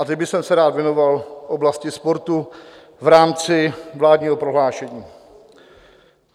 A teď bych se rád věnoval oblasti sportu v rámci vládního prohlášení.